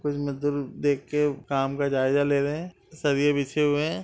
कुछ मजदूर देख के काम का जायजा ले रहे हैं बिछे हुए हैं।